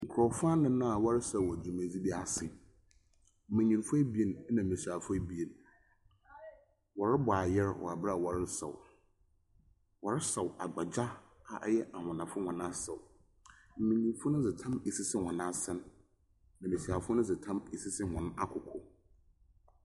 Nkrɔfo anan a wɔresaw wɔ dwumadzi bi ase. Mbenyinfo abie na mbesiafo abien. Wɔrebɔ ayer wɔ bere a wɔresaw. Wɔresaw agbagya a ɔyɛ anwonafo hɔn asaw. Mbenyimfo dze tam asisi hɔn asen. Mbesiafo no dze tam asisi wɔn akoko.